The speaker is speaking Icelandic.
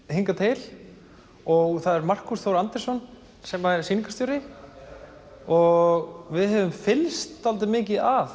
hingað til og það er Markús Þór Andrésson sem er sýningarstjóri og við höfum fylgst dálítið mikið að